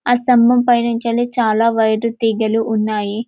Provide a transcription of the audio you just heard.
ఆ స్తంభం పైనుంచేల్లి చాల వైర్లు తీగలు ఉన్నాయి.